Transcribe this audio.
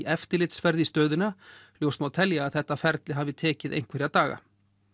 eftirlitsferð í stöðina ljóst má telja að þetta ferli hafi tekið einhverja daga